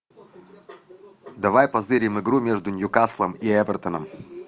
давай позырим игру между ньюкаслом и эвертоном